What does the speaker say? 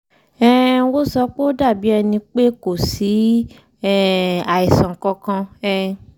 um wọ́n sọ pé ó dàbí ẹni pé kò sí um àìsàn kankan um